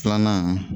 Filanan